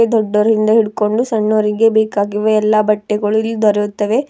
ದೊಡ್ಡೋರಿಂದ ಹಿಡ್ಕೊಂಡು ಸಣ್ಣೋರಿಗೆ ಬೇಕಾಗಿರುವ ಎಲ್ಲ ಬಟ್ಟೆಗಳು ದೊರೆಯುತ್ತವೆ.